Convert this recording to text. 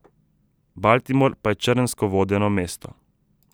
Baltimore pa je črnsko vodeno mesto.